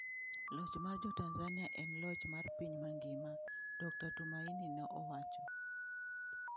Loch mar Jo Tanzania en loch mar piny mangima, Dr. Tumaini ne owacho.